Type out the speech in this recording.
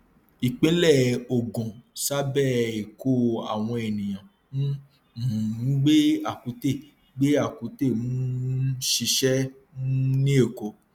ìpínlẹ ògùn ṣàbẹ èkó àwọn ènìyàn ń um gbé àkútè gbé àkútè ń um ṣiṣẹ um ní èkó